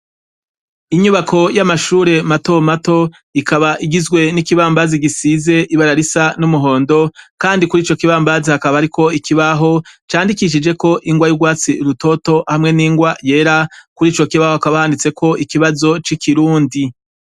Inyubako y'amashure matomato, ikaba igizwe n'ikibambazi gisize ibara risa n'umuhondo, kandi kuri ico kibambazi hakaba hariko ikibaho, candikishijeko ingwa y'urwatsi rutoto hamwe n'ingwa yera, kuri ico kibaho hakaba handitse ikibazo c'ikirundi.